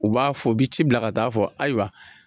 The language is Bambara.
U b'a fɔ o bi ci bila ka taa fɔ ayiwa.